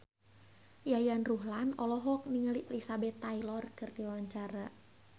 Yayan Ruhlan olohok ningali Elizabeth Taylor keur diwawancara